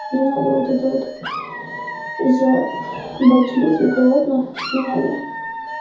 не надо вот это вот за ебать лютыег голодные не надо